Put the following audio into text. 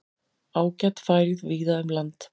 Ágæt færð víða um land